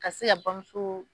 Ka se ka bamuso